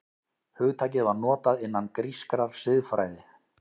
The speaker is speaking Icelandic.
Hugtakið var notað innan grískrar siðfræði.